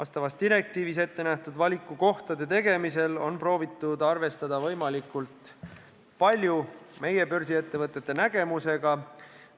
Sellekohases direktiivis ette nähtud valikukohtade puhul on proovitud arvestada võimalikult palju meie börsiettevõtete seisukohtadega.